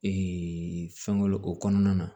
fɛn wɛrɛ o kɔnɔna na